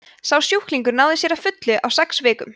sá sjúklingur náði sér að fullu á sex vikum